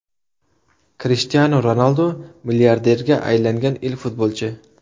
Krishtianu Ronaldu milliarderga aylangan ilk futbolchi.